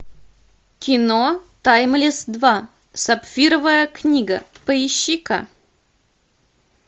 кино таймлесс два сапфировая книга поищи ка